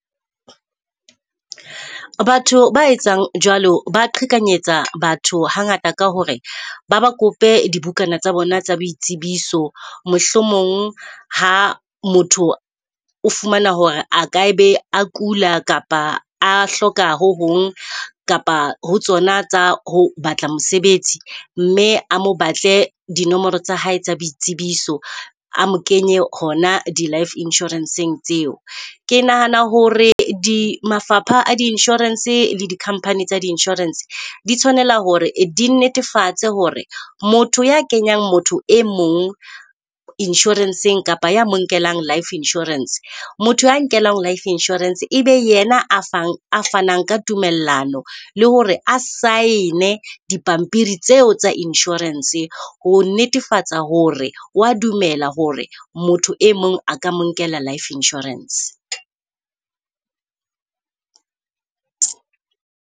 Batho ba etsang jwalo ba qhekanyetsa batho hangata ka hore ba ba kope di bukana tsa bona tsa boitsebiso. Mohlomong ha motho o fumana hore a ka be a kula, kapa a hloka ho hong kapa ho tsona tsa ho batla mosebetsi. Mme a mo batle dinomoro tsa hae tsa boitsebiso, a mo kenye hona di-life insurance-eng tseo. Ke nahana hore mafapha a di-insurance le di-company tsa di-insurance di tshwanela hore di netefatse hore motho ya kenyang motho e mong insurance-eng, kapa ya monkelang life insurance, motho a nkelwang life insurance ebe yena a fanang ka tumellano. Le hore a saene dipampiri tseo tsa insurance ho netefatsa hore wa dumela hore motho e mong a ka mo nkela life insurance.